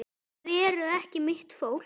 Þið eruð ekki mitt fólk.